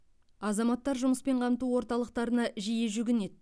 азаматтар жұмыспен қамту орталықтарына жиі жүгінеді